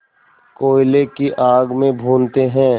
कोयले की आग में भूनते हैं